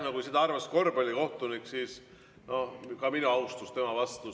No kui seda arvas korvpallikohtunik, siis on ka minu austus tema vastu.